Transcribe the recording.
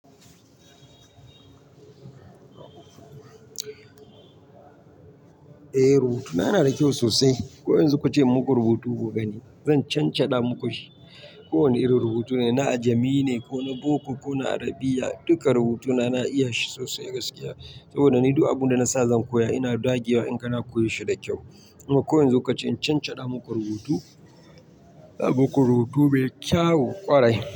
Eh rubutuna na da kyau sosai. Ko yanzu ku ce in muku rubutu ku gani zan cancanda muku shi. Ko wane irin rubutu ne, na ajami ne ko na Boko ko na Arabiya, duka rubutuna na iya shi sosai gaskiya. Saboda ni duk abin da na sa zan koya ina dagewa in kana koya shi da kyau. Kuma ko yanzu ka ce in cancada da muku rubutu, ba mu ku rubutu mai kyawu ƙwarai.